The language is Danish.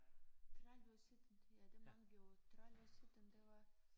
30 år siden ja det mange år 30 år siden det var